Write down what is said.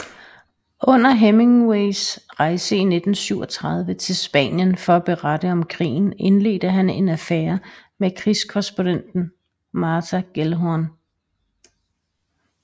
Under Hemingways rejse i 1937 til Spanien for at berette om krigen indledte han en affære med krigskorrespondenten Martha Gellhorn